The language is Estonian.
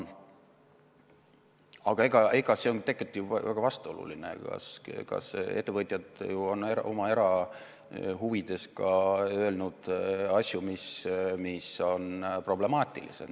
Aga see on tegelikult ju väga vastuoluline, ettevõtjad on oma erahuvides öelnud ka asju, mis on problemaatilised.